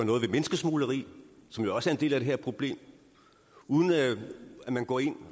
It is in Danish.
noget ved menneskesmugleri som jo også er en del af det her problem uden at man går ind